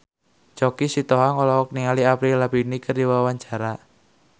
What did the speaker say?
Choky Sitohang olohok ningali Avril Lavigne keur diwawancara